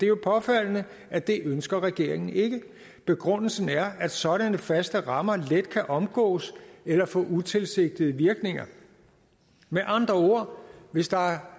jo påfaldende at det ønsker regeringen ikke begrundelsen er at sådanne faste rammer let kan omgås eller få utilsigtede virkninger med andre ord hvis der er